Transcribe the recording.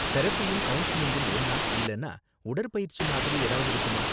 தெரபியும் கவுன்சலிங்கும் ஒன்னா, இல்லனா உடற்பயிற்சி மாதிரி எதாவது இருக்குமா?